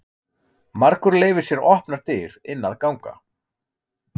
Margur leyfir sér opnar dyr inn að ganga.